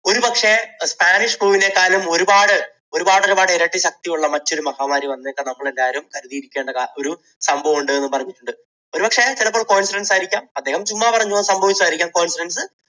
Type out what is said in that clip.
ഒരുപക്ഷേ spanish flu നെക്കാളും ഒരുപാട് ഒരുപാട് ഒരുപാട് ഇരട്ടി ശക്തിയുള്ള മറ്റൊരു മഹാമാരി വന്നേക്കാം. നമ്മളെല്ലാവരും കരുതിയിരിക്കേണ്ട ഒരു സംഭവം ഉണ്ട് എന്ന് പറഞ്ഞിട്ടുണ്ട്. ഒരു പക്ഷേ ചിലപ്പോൾ coincidence ആയിരിക്കാം അദ്ദേഹം ചുമ്മാ പറഞ്ഞത് ഒരു പക്ഷെ സംഭവിച്ചത് ആയിരിക്കാം coincidence